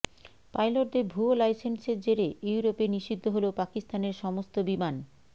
পাইলটদের ভুয়ো লাইসেন্সের জেরে ইউরোপে নিষিদ্ধ হল পাকিস্তানের সমস্ত বিমান